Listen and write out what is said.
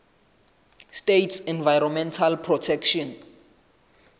states environmental protection